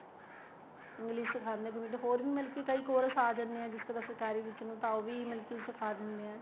English ਸਿਖਾ ਦਿੰਨੇ ਏ ਹੋਰ ਮਤਲਬ ਕੀ ਕਈ course ਆ ਜਾਣੇ ਏ ਜਿਸ ਤਰ੍ਹਾਂ ਸਰਕਾਰੀ ਵਿੱਚ ਨੂੰ ਤਾਂ ਉਹ ਮਤਲਬ ਕੀ ਸਿਖਾ ਦਿੰਨੇ ਏ